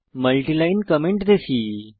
multiline comment দেখি